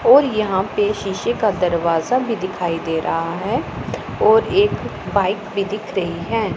और यहां पे शीशे का दरवाजा भी दिखाई दे रहा है और एक बाइक भी दिख रही है।